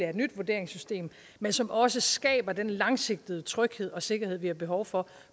et nyt vurderingssystem men som også skaber den langsigtede tryghed og sikkerhed vi har behov for